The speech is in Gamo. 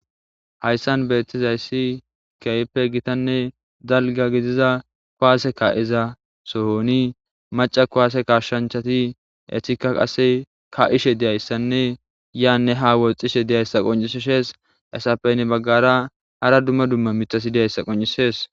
hayssan beettizayssi kehipe gitanne dalga gidiza koaase ka7iza sohoni maca kuwaase kashshanchati etika qase ka7ishe deyayssanne yaanne ha woxxishe diyayssa qonciseshees esapeynne baggara hara dumma dumma mitasi deyayssa qoncisees